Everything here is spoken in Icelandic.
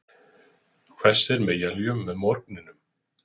Hvessir með éljum með morgninum